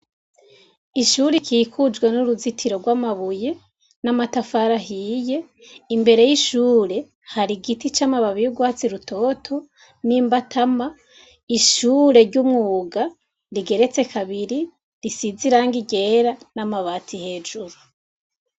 Ishure rikikujwe n'uruzitiro rw'amabuye n'amatafari ahiye, imbere y'ishure hari igiti c'amababi y'urwatsi rutoto n'imbatama, ishure ry'umwuga rigeretse kabiri risize irang ryera n'amabati hejuru.